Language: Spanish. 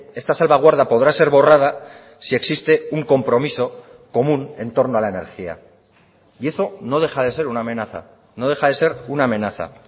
esta salvaguarda podrá ser borrada si existe un compromiso común en torno a la energía y eso no deja de ser una amenaza no deja de ser una amenaza